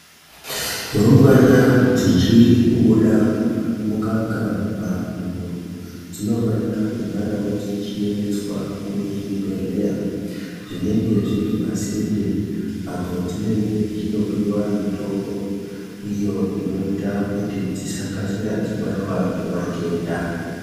Rumbwana dzichiri kubuda mukaka pamhino, dzinofanira kugarawo dzichiendeswa kuzvibhedhleya, zvinenge zviri pasinde, apo tinenge tichinopiwa mitombo ,iyo inoita kuti dzisakasira dzabatwa nematenda.